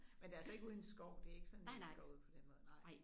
Men det er altså ikke ude i en skov det ikke sådan I går ud på den måde nej